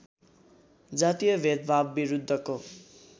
जातीय भेदभावविरुद्धको